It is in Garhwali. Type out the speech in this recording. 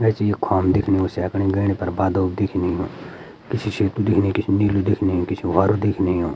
भेजी खुयाम दिखणि सैकनी गैनी फर बादल दिखणि यं किसी से किसी से नीलू दिखणि किसी हारू दिखणि यं।